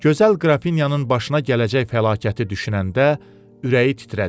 Gözəl Qrafinyanın başına gələcək fəlakəti düşünəndə ürəyi titrədi.